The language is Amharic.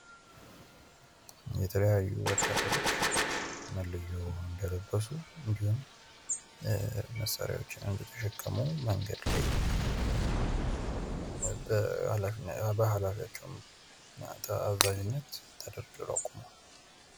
የተለያዩ ወታደሮች መለዮ እንደለበሱ እንዲሁም መሳሪያወችን እንደተሸከሙ መንገድ ላይ በኃላፊያቸው አዛዥነት ተደርድረው ቆመዋል።